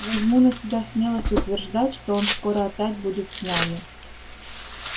возьму на себя смелость утверждать что он скоро опять будет с нами